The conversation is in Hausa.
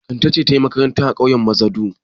Kande ce ta yi makaranta a ƙauyen Mazadu.